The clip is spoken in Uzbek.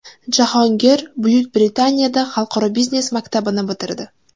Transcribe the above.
Jahongir Buyuk Britaniyada Xalqaro biznes maktabini bitirdi.